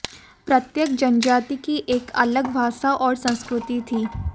प्रत्येक जनजाति की एक अलग भाषा और संस्कृति थी